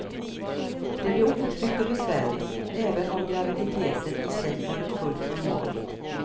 Det blir otryggt och besvärligt, även om graviditeten i sig varit fullt normal.